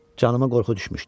Canıma qorxu düşmüşdü.